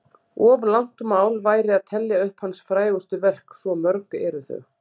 Of langt mál væri að telja upp hans frægustu verk, svo mörg eru þau.